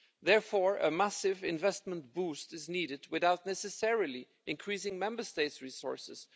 Therefore, a massive investment boost is needed without necessarily increasing Member States' resources.